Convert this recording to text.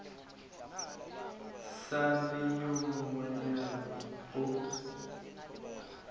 sa le yo monyenyane o